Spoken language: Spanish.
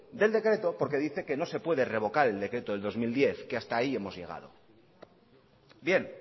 del decreto porque dice que no se puede revocar el decreto del dos mil diez que hasta ahí hemos llegado bien